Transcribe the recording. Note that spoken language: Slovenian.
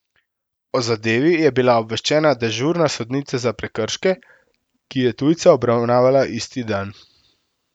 O zadevi je bila obveščena dežurna sodnica za prekrške, ki je tujca obravnavala isti dan.